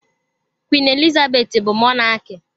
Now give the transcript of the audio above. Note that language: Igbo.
Queen Elizabeth bu Mọnaki.